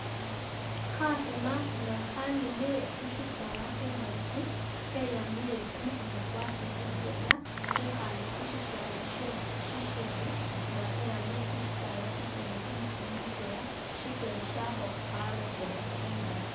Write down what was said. Kha khima nga khaninile khu shisaala khungakyi kyeyambile kumukhono kwakho mutwela khekhale khushisala shishindi nga khe yambile khushisala shishindi kumukhono mutwela shikyele shakho khalosele mungaaki.